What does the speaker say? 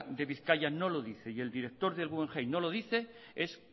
de bizkaia no lo dice y el director del guggenheim no lo dice es